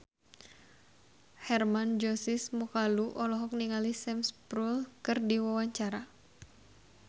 Hermann Josis Mokalu olohok ningali Sam Spruell keur diwawancara